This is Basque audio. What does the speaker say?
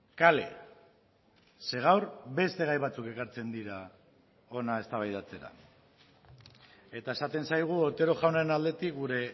kale ze gaur beste gai batzuk ekartzen dira hona eztabaidatzera eta esaten zaigu otero jaunaren aldetik gure